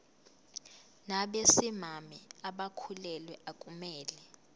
nabesimame abakhulelwe akumele